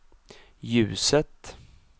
ljuset